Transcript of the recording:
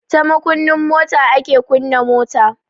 Ta makunnin mota ake kunna mota.